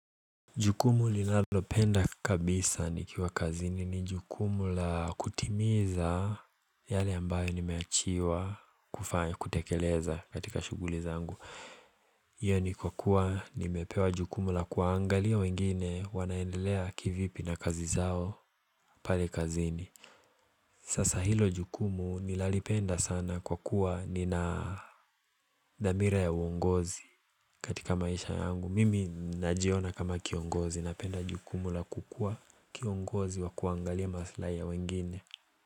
Jukumu linalopenda kabisa nikiwa kazini ni jukumu la kutimiza yale ambayo nimeachiwa kufanya kutekeleza katika shughuli zangu Iyo ni kwa kuwa nimepewa jukumu la kuangalia wengine wanaendelea kivipi na kazi zao pale kazini Sasa hilo jukumu ninalipenda sana kwa kuwa nina dhamira ya uongozi katika maisha yangu Mimi najiona kama kiongozi napenda jukumu la kukuwa kiongozi wa kuangalia maslahi ya wengine.